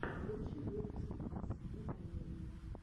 лучший выпуск оксана валерьевна